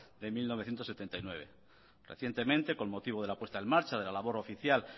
de mil novecientos setenta y nueve recientemente con motivo de la puesta en marcha de la labor oficial